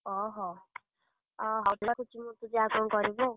ଅହୋ, ଯାଆ କଣ କରିବୁ ଆଉ।